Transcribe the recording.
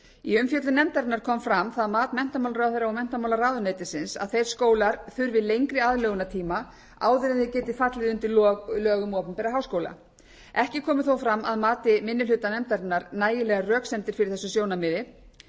í umfjöllun nefndarinnar kom fram það mat menntamálaráðherra og menntamálaráðuneytisins að þeir skólar þurfi lengri aðlögunartíma áður en þeir geti fallið undir lög um opinbera háskóla ekki komu þó fram að mati minni hluta nefndarinnar nægilegar röksemdir fyrir þessu sjónarmiði